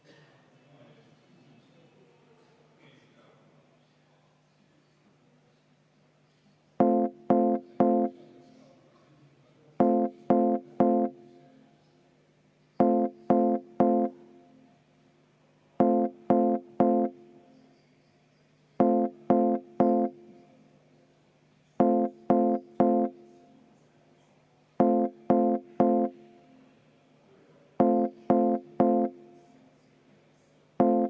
29. muudatusettepanek, mille on esitanud Sotsiaaldemokraatliku Erakonna fraktsioon ja juhtivkomisjon on seda arvestanud täielikult.